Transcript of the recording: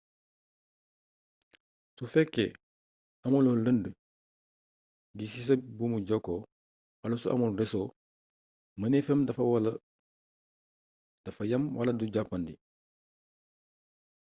su fekkee amuloo lënd gi ci sa buumu jokkoo wala su amul reso mëneefam dafa yam wala du jàppandi